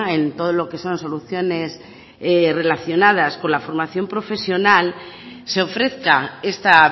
en todo lo que son soluciones relacionadas por la formación profesional se ofrezca esta